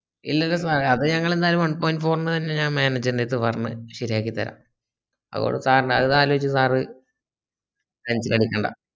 ഇല്ലല്ല sir ഏ അത് ഞങ്ങൾ ന്റാലു one pont four ന് തന്നെ ഞാൻ manager ൻറെടത്തു പറഞ്ഞു ശരി ആക്കി തരാ അത് ആലോചിച്ചു sir tension അടിക്കണ്ട